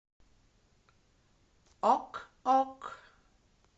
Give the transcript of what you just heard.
ок ок